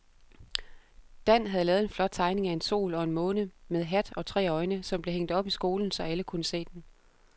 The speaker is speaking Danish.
Dan havde lavet en flot tegning af en sol og en måne med hat og tre øjne, som blev hængt op i skolen, så alle kunne se den.